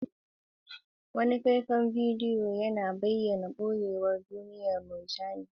Wani faifan bidiyo yana bayyana ɓoyayyun duniyar murjani reefs, yana ba da sha'awa duka da damuwa ga ƙawancen su.